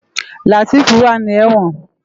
Lateef wá ni èwòn